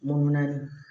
Mun naani